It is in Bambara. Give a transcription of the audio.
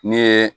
Ne ye